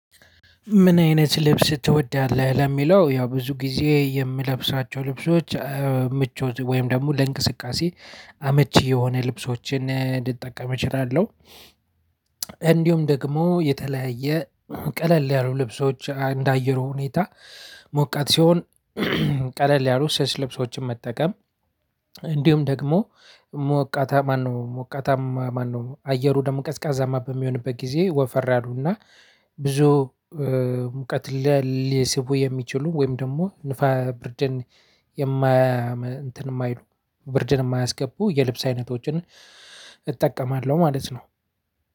"ምን አይነት ልብስ ትወዳለህ?" ለሚለው ያው ብዙ ጊዜ የምለብሳቸው ልብሶች ምቾት ወይም ደግሞ ለእንቅስቃሴ አመቺ የሆነ ልብሶችን ልጠቀም እችላለሁ። እንዲሁም ደግሞ የተለያየ ቀለል ያሉ ልብሶች እንደ አየሩ ሁኔታ ሞቃት ሲሆን ቀለል ያሉ ስስ ልብሶችን መጠቀም እንዲሁም ደግሞ ሞቃታ ማነው ሞቃታማ ማነው አየሩ ደግሞ ቀዝቃዛማ በሚሆንበት ጊዜ ወፈር ያሉና ብዙ ሙቀት ላ ሊስቡ የሚችሉ ወይም ደግሞ ንፋ ብርደን የማያመ እንትን የማይሉ ብርድን የማያስገቡ የልብስ አይነቶችን እጠቀማለሁ ማለት ነው።